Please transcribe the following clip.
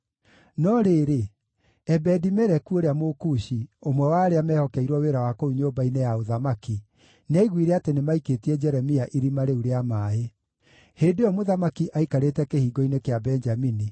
No rĩrĩ, Ebedi-Meleku ũrĩa Mũkushi, ũmwe wa arĩa mehokeirwo wĩra wa kũu nyũmba-inĩ ya ũthamaki, nĩaiguire atĩ nĩmaikĩtie Jeremia irima rĩu rĩa maaĩ. Hĩndĩ ĩyo mũthamaki aikarĩte Kĩhingo-inĩ kĩa Benjamini,